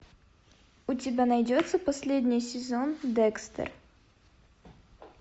у тебя найдется последний сезон декстер